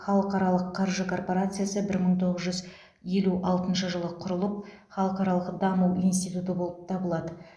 халықаралық қаржы корпорациясы бір мың тоғыз жүз елу алтыншы жылы құрылып халықаралық даму институты болып табылады